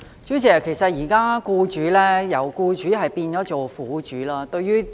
主席，其實現在"僱主"變了"苦主"。